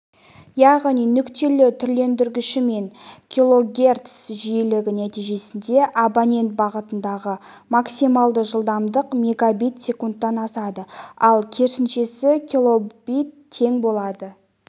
яғни нүктелі түрлендіргіші мен килогерц жиілігі нәтижесінде абонент бағытындағы максималды жылдамдық мегабит секундтан асады ал керісіншесі килобит тең болады